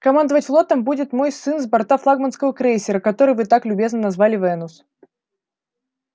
командовать флотом будет мой сын с борта флагманского крейсера который вы так любезно назвали венус